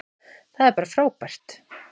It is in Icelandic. Það er bara frábært.